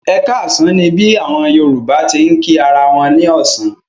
Ẹ káàsán ni bí àwọn Yorùbá ti ń kí ara wọn ní ọ̀sán.